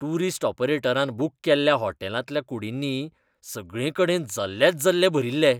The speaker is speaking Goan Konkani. टूरीस्ट ऑपरेटरान बूक केल्ल्या होटॅलांतल्या कुडींनी सगळेकडेन जल्लेच जल्ले भरिल्ले.